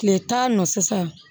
Tile tan nɔ sisan